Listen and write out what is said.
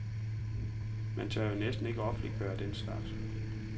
Man tør jo næsten ikke offentliggøre den slags.